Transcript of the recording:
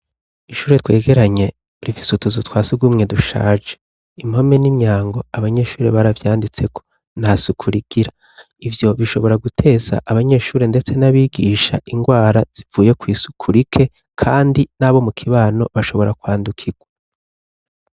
Ishure twegeranye rifise utuzu twasugumwe dushaje, impome n'imyango abanyeshuri baravyanditseko, nta suku rigira, ivyo bishobora guteza abanyeshuri ndetse n'abigisha ingwara zivuye kw'isuku rike kandi nabo mukibano bashobora kwandukirwa.